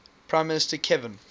prime minister kevin